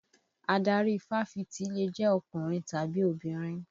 Adarí Fáfitì lè jẹ́ ọkùnrin tàbí obìnrin